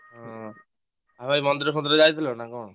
ହୁଁ ଆଉ ଭାଇ ମନ୍ଦିର ଫନ୍ଦୀର ଯାଇଥିଲ ନା କଣ?